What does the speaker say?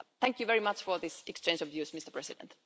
Thank you very much for this exchange of views, Mr President.